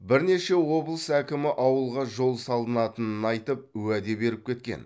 бірнеше облыс әкімі ауылға жол салынатынын айтып уәде беріп кеткен